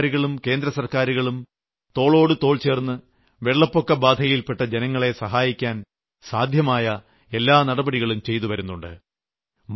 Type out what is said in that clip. സംസ്ഥാനസർക്കാരുകളും കേന്ദ്രസർക്കാരും തോളോടുതോൾചേർന്ന് വെള്ളപ്പൊക്കബാധയിൽപ്പെട്ട ജനങ്ങളെ സഹായിക്കാൻ സാധ്യമായ എല്ലാ നടപടികളും ചെയ്തുവരുന്നുണ്ട്